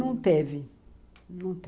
Não teve.